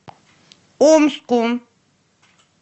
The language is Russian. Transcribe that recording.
омску